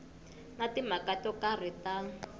na timhaka to karhi ta